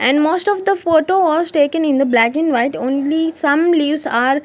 and most of the photo was taken in the black and white only some leaves are--